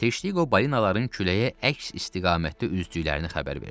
Teştiqo balinaların küləyə əks istiqamətdə üzdüklərini xəbər verdi.